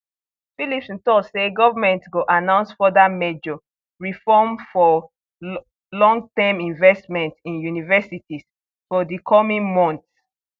phillipson tok say government go announce further major reform for longterm investment in universities for di coming months